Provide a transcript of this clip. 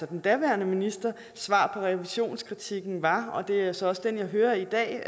den daværende ministers svar på revisionskritikken var og det er så også den jeg hører i dag